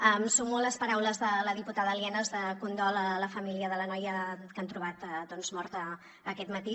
em sumo a les paraules de la diputada lienas de condol a la família de la noia que han trobat morta aquest matí